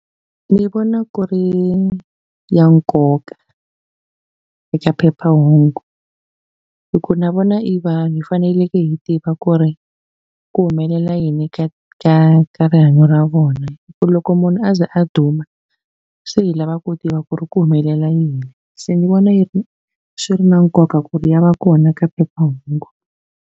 Ni vona ku ri ya nkoka eka phephahungu hi ku na vona i vanhu hi faneleke hi tiva ku ri ku humelela yini ka ka ka rihanyo ra vona hi ku loko munhu a ze a duma se hi lava ku tiva ku ri ku humelela yini se ni vona yi ri swi ri na nkoka ku ri ya va kona ka phephahungu.